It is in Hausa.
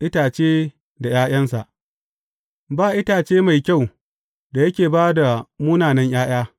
Itace da ’ya’yansa Ba itace mai kyau da yake ba da munanan ’ya’ya.